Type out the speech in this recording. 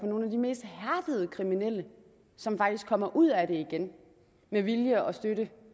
på nogle af de mest hærdede kriminelle som faktisk kommer ud af det igen med vilje og støtte